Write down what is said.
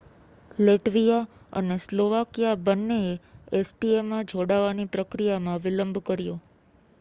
Latvia અને Slovakia બંનેએ એસીટીએમાં જોડાવાની પ્રક્રિયામાં વિલંબ કર્યો